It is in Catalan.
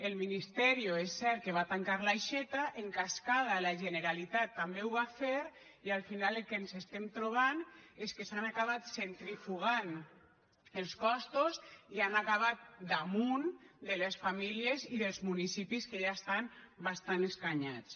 el ministerio és cert que va tancar l’aixeta en cascada la generalitat també ho va fer i al final el que ens estem trobant és que s’han acabat centrifugant els costos i han acabat damunt de les famílies i dels municipis que ja estan bastant escanyats